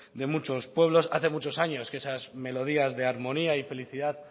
de muchos pueblos hace muchos años que esas melodías de armonía y felicidad